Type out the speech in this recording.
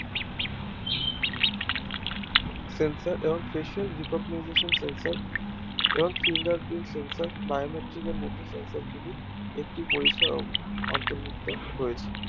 Sensor এবং Facial recognization sensor এবং fingerprint sensor biometric এর মধ্যে জায়গাগুলি একটি পরিসর অন্তর্ভুক্ত রয়েছে